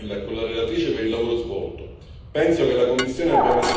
Mi congratulo con il Commissario Vella e con la relatrice per il lavoro svolto.